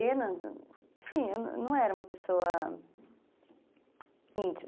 Enfim, eu não era uma pessoa íntima.